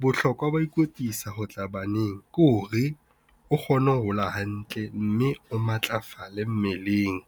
Bohlokwa ba ho ikwetlisa ho tla baneng ke hore o kgone ho hola hantle mme o matlafale mmeleng.